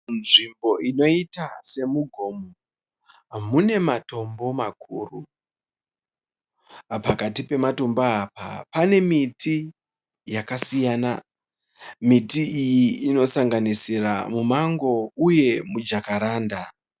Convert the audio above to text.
Nzvimbo inoita semugomo munematombo makuru. Pakati pematombo apa panemiti yakasiyana. Miti iyi inosanganisira mumango uye mujakaranda.